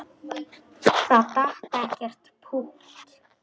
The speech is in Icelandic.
Það datt ekkert pútt.